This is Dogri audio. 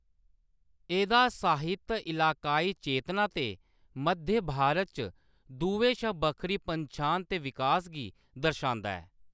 एह्‌‌‌दा साहित्य इलाकाई चेतना ते मध्य भारत च दुएं शा बक्खरी पन्छान दे विकास गी दर्शांदा ऐ।